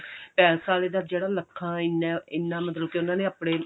palace ਆਲਿਆਂ ਦਾ ਜਿਹੜਾ ਲੱਖਾਂ ਇੰਨਾ ਇੰਨਾ ਮਤਲਬ ਕਿ ਉਹਨਾ ਨੇ ਆਪਨੇ